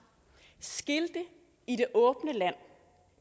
skilte i det åbne land